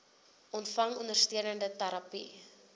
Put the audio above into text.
ontvang ondersteunende terapie